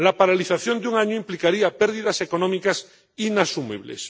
La paralización de un año implicaría pérdidas económicas inasumibles.